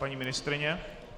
Paní ministryně?